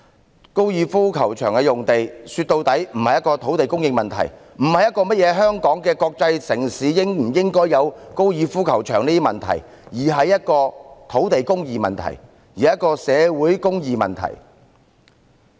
說到底，高爾夫球場用地並非土地供應問題，亦不是香港作為國際城市應否有高爾夫球場的問題，而是土地公義及社會公義的問題。